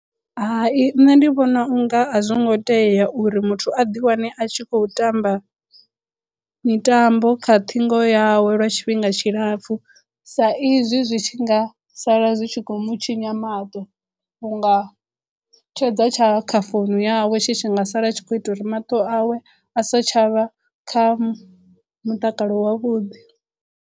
Hai nṋe ndi vhona unga a zwo ngo tea uri muthu a ḓi wane a tshi khou tamba mitambo kha ṱhingo yawe lwa tshifhinga tshilapfhu sa izwi zwi tshi nga sala zwi tshi khou mu tshinya maṱo unga tshedza tsha kha founu yawe tshi tshi nga sala a tshi khou ita uri maṱo awe a sa tshavha kha mutakalo wavhuḓi.